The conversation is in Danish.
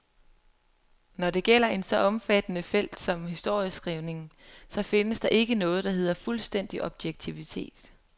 Når det gælder et så omfattende felt som historieskrivningen, så findes der ikke noget, der hedder fuldstændig objektivitet.